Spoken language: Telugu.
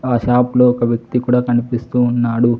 ఆ షాప్ లో ఒక వ్యక్తి కూడా కనిపిస్తూ ఉన్నాడు.